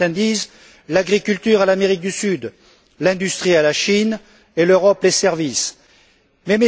Certains disent l'agriculture à l'Amérique du Sud, l'industrie à la Chine et les services à l'Europe.